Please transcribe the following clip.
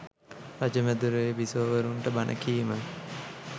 රජ මැදුරේ බිසෝවරුන්ට බණ කීම